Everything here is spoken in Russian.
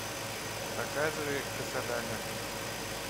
показывай кассадага